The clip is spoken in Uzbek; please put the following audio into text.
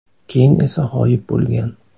Keyin esa g‘oyib bo‘lgan.